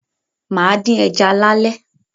Máa dín ẹja lálé